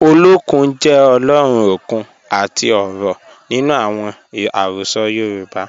Ọlọ́kun jẹ́ Ọ̀lọ́run okun àti ọ̀rọ̀ nínu awọn ẹ̀rọsọ̀ Yorùbá